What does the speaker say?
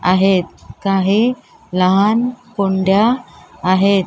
आहेत काही लहान कुंड्या आहेत.